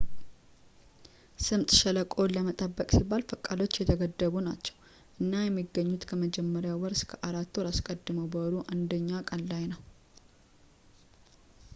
ስምጥ ሸለቆውን ለመጠበቅ ሲባል ፈቃዶች የተገደቡ ናቸው እና የሚገኙት ከመጀመሪያው ወር አራት ወራት አስቀድሞ በወሩ 1ኛ ቀን ላይ ነው